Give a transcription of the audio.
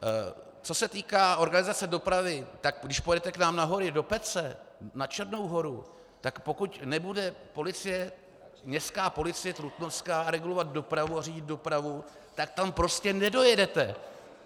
Co se týká organizace dopravy, tak když pojedete k nám na hory, do Pece, na Černou Horu, tak pokud nebude městská policie trutnovská regulovat dopravu a řídit dopravu, tak tam prostě nedojedete.